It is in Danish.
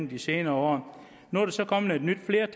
vi sikrer